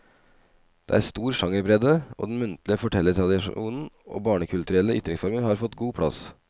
Det er stor sjangerbredde, og den muntlige fortellertradisjonen og barnekulturelle ytringsformer har fått god plass.